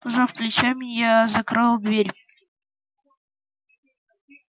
пожав плечами я закрыл дверь